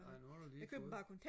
nej nu har du lige fået den